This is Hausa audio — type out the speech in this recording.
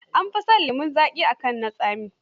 An fi shan lemon zaƙi kan na tsami.